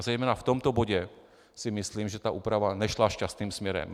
A zejména v tomto bodě si myslím, že ta úprava nešla šťastným směrem.